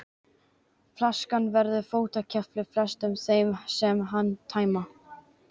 Flaskan verður fótakefli flestum þeim sem hana tæma.